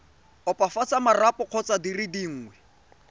opafatsa marapo kgotsa dire dingwe